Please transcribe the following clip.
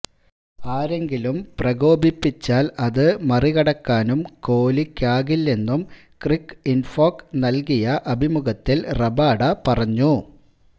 ആരെങ്കിലും പ്രകോപിപ്പിച്ചാൽ അത് മറികടക്കാനും കോഹ്ലിക്കാകില്ലെന്നും ക്രിക്ക് ഇൻഫോക്ക് നൽകിയ അഭിമുഖത്തിൽ റബാഡ പറഞ്ഞു